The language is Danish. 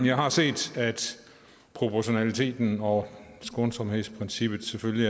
jeg har set at proportionaliteten og skånsomhedsprincippet selvfølgelig